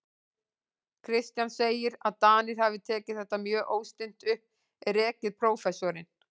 Kristján segir, að Danir hafi tekið þetta mjög óstinnt upp, rekið prófessorinn